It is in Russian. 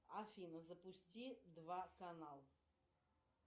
афина запусти два канал